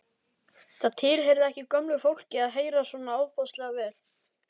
Það tilheyrði ekki gömlu fólki að heyra svona ofboðslega vel.